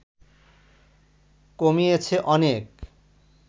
কমিয়েছে অনেক